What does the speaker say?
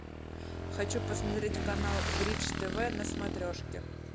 хочу посмотреть канал бридж тв на смотрешке